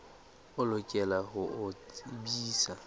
o lokela ho o tsebisa